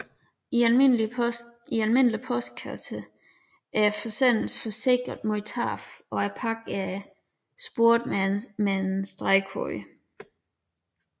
I almindelige postpakker er forsendelsen forsikret mod tab og pakken er sporet med en stregkode